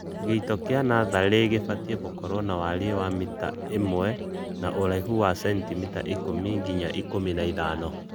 Gĩito kĩa natharĩ gĩbatie gũkorwo na warie wa mita imwe na ũraihu wa sentimita ikũmi nginya ikũmi na ithano